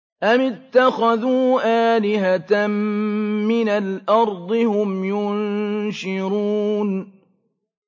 أَمِ اتَّخَذُوا آلِهَةً مِّنَ الْأَرْضِ هُمْ يُنشِرُونَ